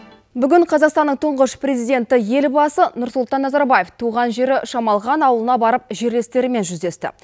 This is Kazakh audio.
бүгін қазақстанның тұңғыш президенті елбасы нұрсұлтан назарбаев туған жері шамалған ауылына барып жерлестерімен жүздесті